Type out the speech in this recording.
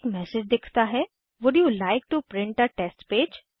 एक मैसेज दिखता है would you like to print a test page